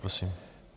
Prosím.